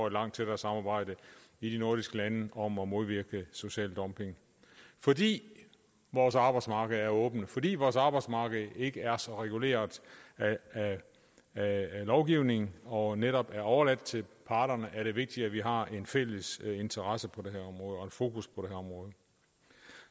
et langt tættere samarbejde i de nordiske lande om at modvirke social dumping fordi vores arbejdsmarked er åbent fordi vores arbejdsmarked ikke er så reguleret af lovgivning og netop er overladt til parterne er det vigtigt at vi har en fælles interesse og fokus på det her område